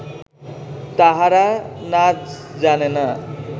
তাহারা নাজ জানে না